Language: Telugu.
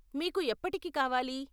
మీకు ఎప్పటికి కావాలి?